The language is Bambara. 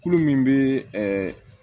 Kulo min bɛ